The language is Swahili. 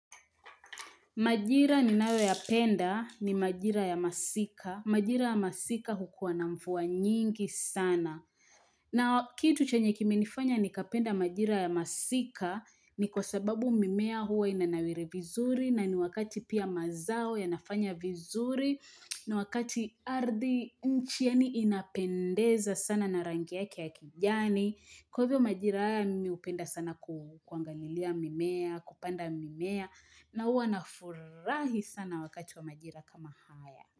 Majira ninayo yapenda ni majira ya masika. Majira ya masika hukuwa na mvua nyingi sana. Na kitu chenye kimenifanya ni kapenda majira ya masika ni kwa sababu mimea huwa inanawiri vizuri na ni wakati pia mazao ya nafanya vizuri. Na wakati ardhi, nchi yaani inapendeza sana na rangi yake ya kijani. Kwa hivyo majira haya, mi hupenda sana kuangalilia mimea, kupanda mimea. Na huwa nafurahi sana wakati wa majira kama haya.